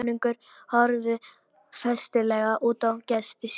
Konungur horfði festulega á gesti sína.